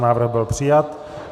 Návrh byl přijat.